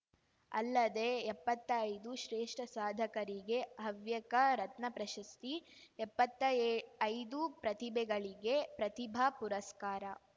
ಅಲ್ಲದೆ ಎಪ್ಪತ್ತೈದು ಶ್ರೇಷ್ಠ ಸಾಧಕರಿಗೆ ಹವ್ಯಕ ರತ್ನ ಪ್ರಶಸ್ತಿ ಎಪ್ಪತ್ತೈದು ಪ್ರತಿಭೆಗಳಿಗೆ ಪ್ರತಿಭಾ ಪುರಸ್ಕಾರ